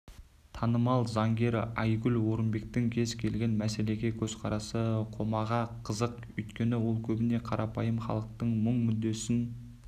танымал заңгер айгүл орынбектің кез келген мәселеге көзқарасы қоғамға қызық өйткені ол көбіне қарапайым халықтың мұң-мүддесін